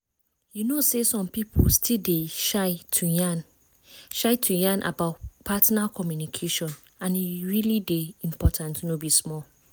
you know say some people still dey shy to yan shy to yan about partner communication and e really dey important no be small